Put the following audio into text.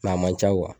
a man ca